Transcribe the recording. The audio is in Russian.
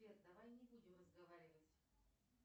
сбер давай не будем разговаривать